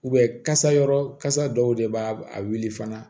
kasa yɔrɔ kasa dɔw de b'a a wuli fana